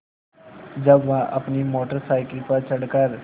जब वह अपनी मोटर साइकिल पर चढ़ कर